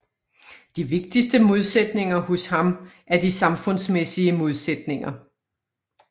De vigtigste modsætninger hos ham er de samfundsmæssige modsætninger